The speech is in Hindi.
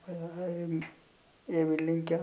ये बिल्डिंग क्या--